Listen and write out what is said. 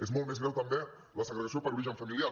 és molt més greu també la segregació per origen familiar